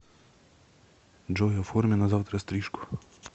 джой оформи на завтра стрижку